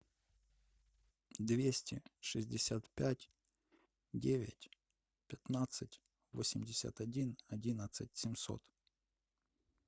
двести шестьдесят пять девять пятнадцать восемьдесят один одиннадцать семьсот